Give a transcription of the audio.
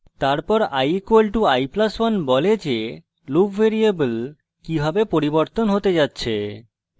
তারপর i = i + 1 বলে যে loop ভ্যারিয়েবল কিভাবে পরিবর্তন হতে যাচ্ছে